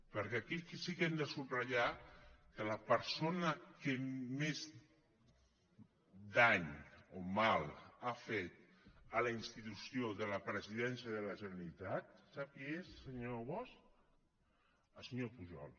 perquè aquí sí que hem de subratllar que la persona que més dany o mal ha fet a la institució de la presidència de la generalitat sap qui és senyor bosch el senyor pujol